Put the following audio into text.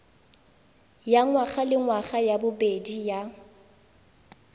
ya ngwagalengwaga ya bobedi ya